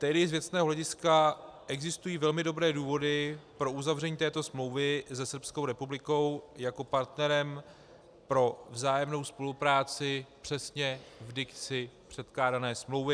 Tedy z věcného hlediska existují velmi dobré důvody pro uzavření této smlouvy se Srbskou republikou jako partnerem pro vzájemnou spolupráci přesně v dikci předkládané smlouvy.